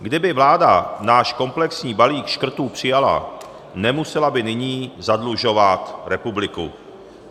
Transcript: Kdyby vláda náš komplexní balík škrtů přijala, nemusela by nyní zadlužovat republiku.